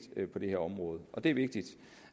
på det her område og det er vigtigt